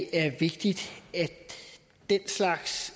er vigtigt at den slags